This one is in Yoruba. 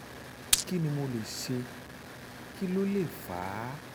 kí ni mo lè ṣe? kí ló lè fà á?